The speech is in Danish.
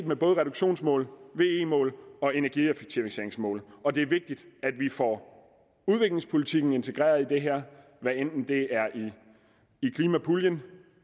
med reduktionsmål ve mål og energieffektiviseringsmål og det er vigtigt at vi får udviklingspolitikken integreret i det her hvad enten det er i klimapuljen